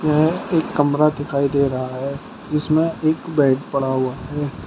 यह एक कमरा दिखाई दे रहा है जिसमें एक बेड पड़ा हुआ है।